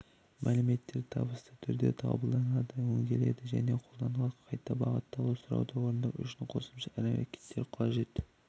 мәліметтер табысты түрде қабылданады өңделеді және қолданады қайта бағытталу сұрауды орындау үшін қосымша әрекеттер қажет